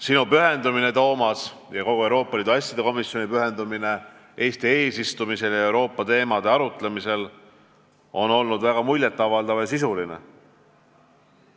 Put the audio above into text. Sinu pühendumine, Toomas, ja kogu Euroopa Liidu asjade komisjoni pühendumine Eesti eesistumisel ja üldse Euroopa teemade arutamisel on olnud väga muljet avaldav ja sisuline.